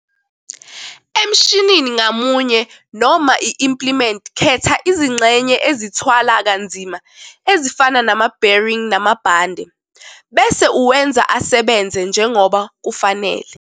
Emshinini ngamunye noma i-implement khetha izingxenye ezithwala kanzima ezifana nama-bearing namabhande bese uwenza asebenze njengoba kufanele.